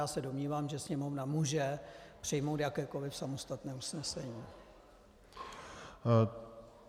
Já se domnívám, že Sněmovna může přijmout jakékoliv samostatné usnesení.